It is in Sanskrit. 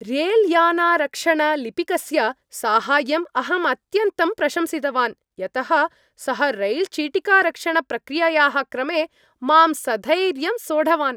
रेल्यानारक्षणलिपिकस्य साहाय्यम् अहं अत्यन्तं प्रशंसितवान् यतः सः रैल् चिटिकारक्षणप्रक्रियायाः क्रमे मां सधैर्यं सोढवान्।